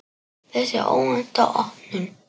Þessi óvænta opnun